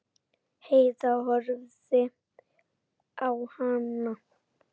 Heiða horfði á hana.